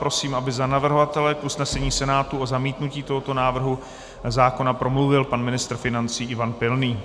Prosím, aby za navrhovatele k usnesení Senátu o zamítnutí tohoto návrhu zákona promluvil pan ministr financí Ivan Pilný.